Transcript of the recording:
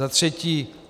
Za další.